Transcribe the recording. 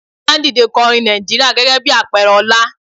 A máa ń dìde ko orin Nàìjíríà gẹ́gẹ́ bí àpẹẹrẹ ọlá.